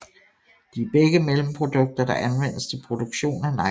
De er begge mellemprodukter der anvendes til produktion af nylon